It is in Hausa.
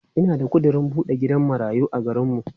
Ina da ƙudirin buɗe gidan marayu a garinmu.